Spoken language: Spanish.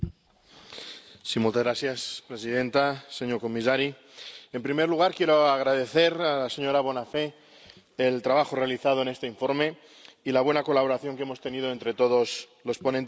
Señora presidenta, señor comisario, en primer lugar, quiero agradecer a la señora Bonafè el trabajo realizado en este informe y la buena colaboración que hemos tenido entre todos los ponentes alternativos.